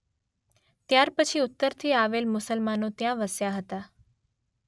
ત્યાર પછી ઉત્તરથી આવેલ મુસલમાનો ત્યાં વસ્યા હતાં.